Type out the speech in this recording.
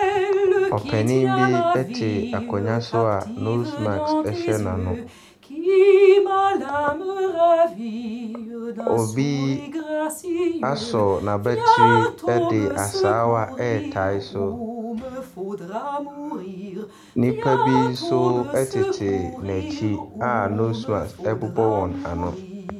Ɔpanin bi te akonnwa so a nose mask hyɛ n'ano. Obi asɔ n'abati de asaawa retare so. Nnipa bi nso tete n'akyi a nose mask bobɔ wɔn ano.